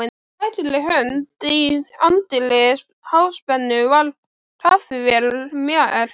Á hægri hönd í anddyri Háspennu var kaffivél merkt